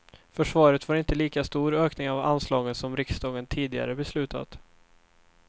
Försvaret får inte lika stor ökning av anslagen som riksdagen tidigare beslutat.